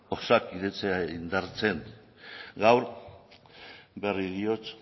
osakidetza indartzen gaur berriro diot